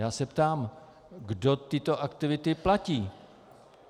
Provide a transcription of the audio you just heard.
Já se ptám, kdo tyto aktivity platí.